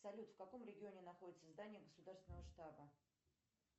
салют в каком регионе находится здание государственного штаба